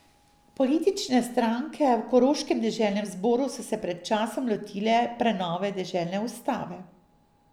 Politične stranke v koroškem deželnem zboru so se pred časom lotile prenove deželne ustave.